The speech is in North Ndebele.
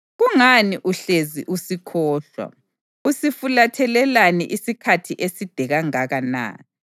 Kungani uhlezi usikhohlwa? Usifulathelelani isikhathi eside kangaka na?